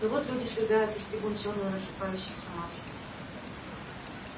но вот люди свергаются с трибун чёрной рассыпающейся массой